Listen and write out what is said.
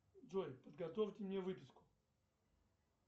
джой подготовьте мне выписку